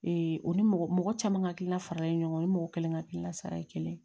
o ni mɔgɔ mɔgɔ caman hakilina faralen ɲɔgɔn kan o ni mɔgɔ kelen ka hakilina sara ye kelen